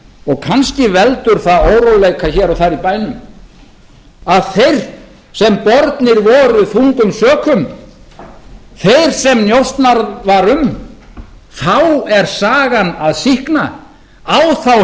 og kannski veldur það óróleika hér og þar í bænum að þeir sem bornir voru þungum sökum þeir sem njósnað var um þá er sagan að sýkna á þá